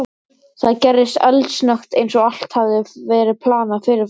Það gerðist eldsnöggt, eins og allt hefði verið planað fyrirfram.